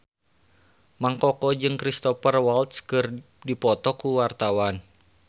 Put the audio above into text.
Mang Koko jeung Cristhoper Waltz keur dipoto ku wartawan